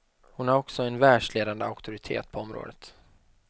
Hon är också en världsledande auktoritet på området.